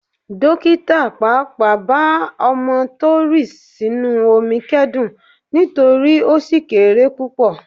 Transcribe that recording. Dókítà pàápàá bá ọmọ tó rì sínú omi kẹ́dùn nítorí ó ṣì kéré púpọ̀.